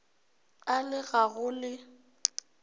a le ga go le